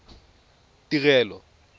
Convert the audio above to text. tirelo